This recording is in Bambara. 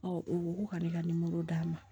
u ko ko ka ne ka d'a ma